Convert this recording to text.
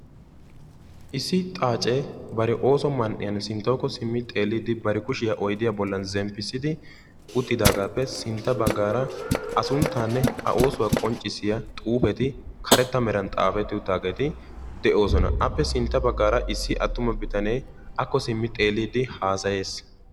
Issi xaacee bari ooso man"iyan sinttawukko simmi xeelliiddi bari kushiya oydiya bollan zemppissidi uttidaagaappe sintta baggaara A sunttaanne A oosuwa qonccissiya karetta meran xaafetta xuufeti de'oosona. Appe sintta baggaara issi karetta bitanee akko simmi xeelliiddi haasayees.